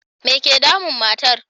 Me ke damun matar?